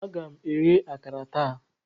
Aga m eghe akara taa.